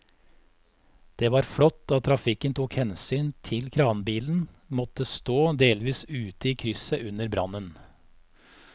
Det var flott at trafikken tok hensyn til at kranbilen måtte stå delvis ute i krysset under brannen.